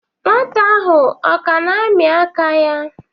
Nwata ahụ ọ ka na-amị aka ya?